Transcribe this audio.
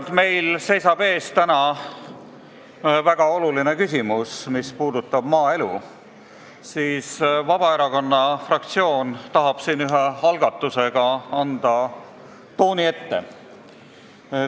Kuna meil seisab täna ees väga oluline päevakorrapunkt, mis puudutab maaelu, siis Vabaerakonna fraktsioon tahab siin ühe algatusega juba õige tooni ette anda.